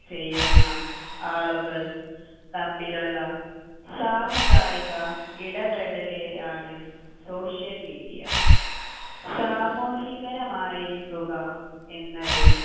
ചെയ്യുന്ന ആളുകൾ തമ്മിലുള്ള സാമുദായിക ഇടപെടലിനെയാണ് social media സാമൂഹികരമായിരിക്കുക എന്നത്